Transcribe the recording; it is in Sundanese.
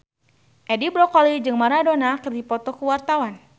Edi Brokoli jeung Maradona keur dipoto ku wartawan